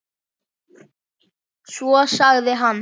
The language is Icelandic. Svo sagði hann